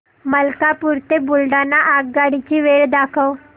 मलकापूर ते बुलढाणा आगगाडी ची वेळ दाखव